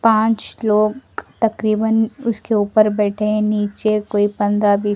पांच लोग तकरीबन उसके ऊपर बैठे नीचे कोई पंद्रह बीस ।